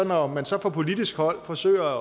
når man så fra politisk hold forsøger